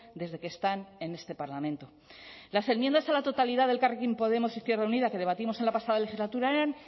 desde que están en este parlamento las enmiendas a la totalidad del elkarrekin podemos izquierda unida que debatimos en la pasada legislatura eran